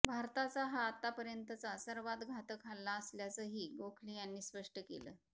भारताचा हा आतापर्यंतचा सर्वात घातक हल्ला असल्याचंही गोखले यांनी स्पष्ट केलं